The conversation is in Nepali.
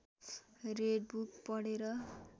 रेड बुक पढेर